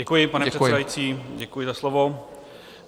Děkuji, pane předsedající, děkuji za slovo.